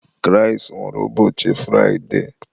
Kraịst nwụrụ ụbọchị Fraide